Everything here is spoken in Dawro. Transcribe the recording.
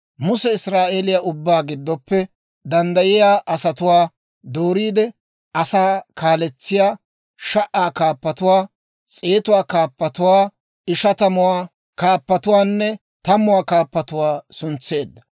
Muse Israa'eeliyaa ubbaa giddoppe danddayiyaa asatuwaa dooriide asaa kaaletsiyaa sha"aa kaappatuwaa, s'eetuwaa kaappatuwaa, ishatamuwaa kaappatuwaanne tammuwaa kaappatuwaa suntseedda.